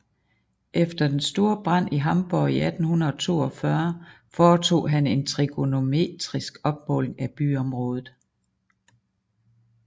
Efter den store brand i Hamborg i 1842 foretog han en trigonometrisk opmåling af byområdet